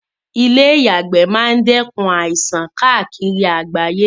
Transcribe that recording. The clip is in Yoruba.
Ìle ìyàgbẹ́ ma n dẹ́kun àìsan kaàkiri àgbáyé